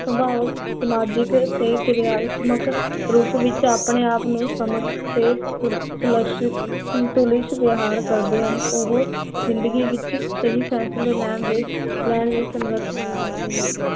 ਸਮ੍ਬਾਓ, ਸ੍ਮਾਜਿਕਲ ਤੇ ਕਿਰਿਆਤਮਕ ਰੂਪ ਵਿਚ ਆਪਣੇ ਆਪ ਨੂੰ ਸਮਝ ਤੇ ਵਿਹਾਰ ਕਰਦੇ ਹਨ, ਓਹੋ ਜ਼ਿੰਦਗੀ ਵਿਚ ਸਹੀ ਫੈਸਲੇ ਲੈਣ ਲਈ ਸਮਰਥ ਹੋ ਜਾਂਦੇ ਹਨ l